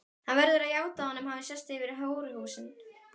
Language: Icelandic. Hann verður að játa að honum hafi sést yfir hóruhúsin.